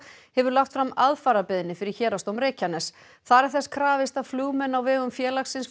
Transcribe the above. hefur lagt fram aðfararbeiðni fyrir Héraðsdóm Reykjaness þar er þess krafist að flugmenn á vegum félagsins